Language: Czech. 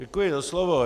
Děkuji za slovo.